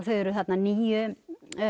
þau eru þarna níu